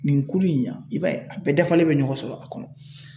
Nin kulu in na i b'a ye a bɛɛ dafalen bɛ ɲɔgɔn sɔrɔ a kɔnɔ .